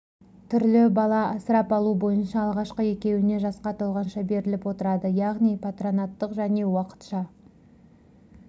түрлі бала асырап алу бойынша алғашқы екеуіне жасқа толғанша беріліп отырады яғни патронаттық және уақытша